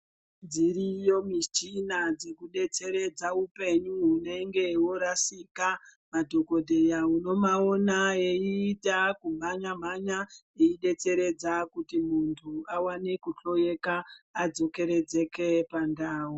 Dziriyo michina dzeku detseredza hupenyu hunenge hwo rasika madhokodheya uno maona eyi ita ku mhanya mhanya eyi detseredza kuti muntu awane ku hloyeka adzoke redzeke pa ndau.